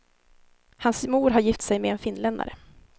Hans mor har gift sig med en finländare.